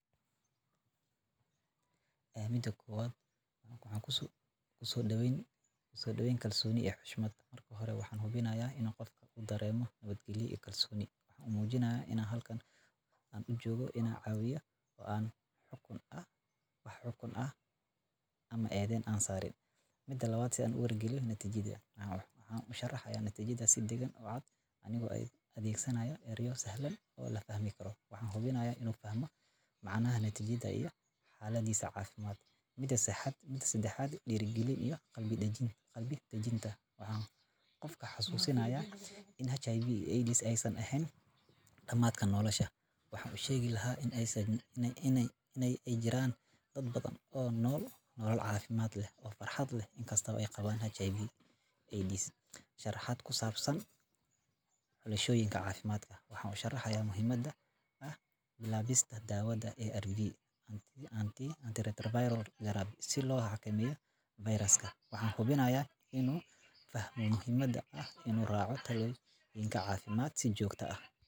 Ku Soo Dhaweyn Kalsooni iyo Xushmad: Marka hore, waxaan hubinayaa in qofka uu dareemo nabadgelyo iyo kalsooni. Waxaan u muujinayaa inaan halkan u joogno inaan caawiyo oo aanu wax xukun ah ama eedayn ah saarin. Si Cad Uga Wargeli Natiijada: Waxaan u sharxayaa natiijada si deggan oo cad, anigoo adeegsanaya ereyo sahlan oo la fahmi karo. Waxaan hubinayaa inuu fahmo macnaha natiijada iyo xaaladdiisa caafimaad. Dhiirrigelin iyo Qalbiga Dejinta: Waxaan qofka xusuusinayaa in HIV/AIDS aysan ahayn dhamaadka nolosha. Waxaan u sheegi lahaa in ay jiraan dad badan oo nool nolol caafimaad leh oo farxad leh inkastoo ay qabaan HIV.